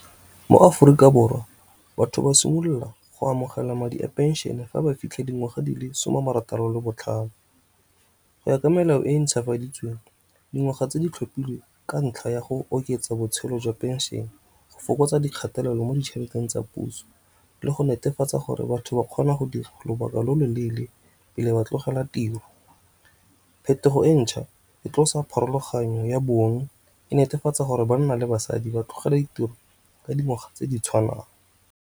Mo Aforika Borwa batho ba simolola go amogela madi a pension fa ba fitlha dingwaga di le some a marataro le botlhano, go ya ka melao e ntšhafaditsweng dingwaga tse di tlhophilwe ka ntlha ya go oketsa botshelo jwa pension, go fokotsa dikgatelelo mo ditšheleteng tsa puso, le go netefatsa gore batho ba kgona go dira lobaka lo lo leele pele ba tlogela tiro. Phetogo e ntšha e tlosa pharologanyo ya bong e netefatsa gore banna le basadi ba tlogela ditiro ka dingwaga tse di tshwanang.